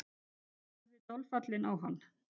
Ég horfði dolfallinn á hann.